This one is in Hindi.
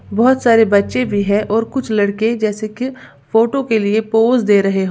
बहोत सारे बच्चे भी है और कुछ लड़के जैसे की फोटो के लिए पोज दे रहे हो।